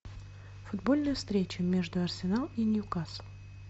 футбольная встреча между арсенал и ньюкасл